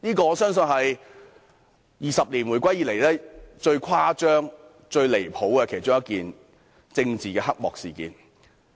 我相信這是回歸20年以來，最誇張、最離譜的其中一件政治黑幕事件。